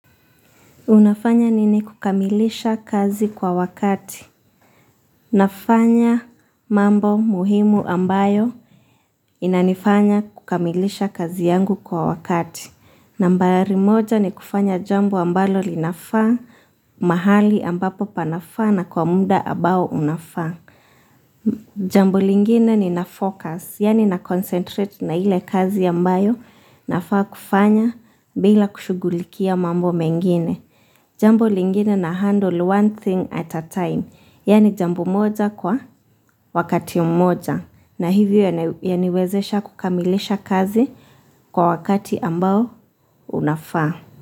Unafanya nini kukamilisha kazi kwa wakati. Nafanya mambo muhimu ambayo inanifanya kukamilisha kazi yangu kwa wakati nambari moja ni kufanya jambo ambalo linafaa mahali ambapo panafaa na kwa muda ambao unafaa. Jambo lingine ni nafocus, yani na concentrate na ile kazi ambayo nafaa kufanya bila kushughulikia mambo mengine. Jambo lingine na handle one thing at a time, yani jambo moja kwa wakati mmoja na hivyo yani wezesha kukamilisha kazi kwa wakati ambao unafaa.